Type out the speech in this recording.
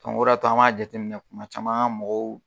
o de y'a to an m'a jateminɛ kuma caman an ga mɔgɔw